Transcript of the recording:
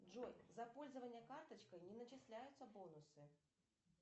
джой за пользование карточкой не начисляются бонусы